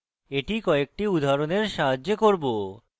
এটি কয়েকটি উদাহরণের সাহায্যে করব